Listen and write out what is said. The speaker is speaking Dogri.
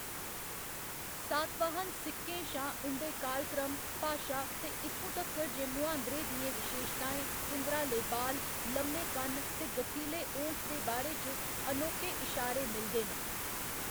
सातवाहन सिक्कें शा उं'दे कालक्रम, भाशा ते इत्थूं तक्कर जे मुहांदरें दियें विशेशताएं, घुंगराले बाल, लम्मे कन्न ते गठीले ओंठ दे बारे च अनोखे इशारे मिलदे न।